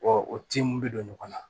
o tin mun be don ɲɔgɔn na